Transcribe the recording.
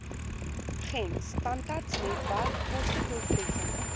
gems tandartsnetwerk kostedoeltreffende